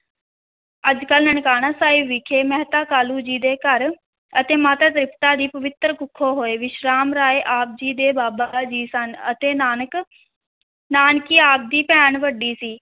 ਅੱਜ ਕੱਲ੍ਹ ਨਨਕਾਣਾ ਸਾਹਿਬ ਵਿਖੇ ਮਹਿਤਾ ਕਾਲੂ ਜੀ ਦੇ ਘਰ ਅਤੇ ਮਾਤਾ ਤ੍ਰਿਪਤਾ ਦੀ ਪਵਿਤਰ ਕੁੱਖੋਂ ਹੋਏ, ਵਿਸ਼ਰਾਮ ਰਾਏ ਆਪ ਜੀ ਦੇ ਬਾਬਾ ਜੀ ਸਨ ਅਤੇ ਨਾਨਕ, ਨਾਨਕੀ ਆਪ ਦੀ ਭੈਣ ਵੱਡੀ ਸੀ।